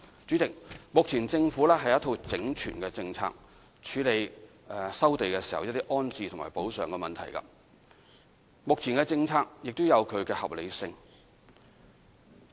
主席，政府有一套整全的政策，處理收地時的安置和補償問題，目前的政策也有它的合理性。